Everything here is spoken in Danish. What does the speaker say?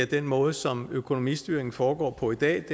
den måde som økonomistyringen foregår på i dag